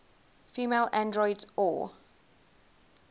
female androids or